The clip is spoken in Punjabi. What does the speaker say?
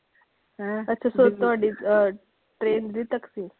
ਅੱਛਾ ਤੁਹਾਡੀ ਅਹ train ਦਿੱਲੀ ਤੱਕ ਸੀ।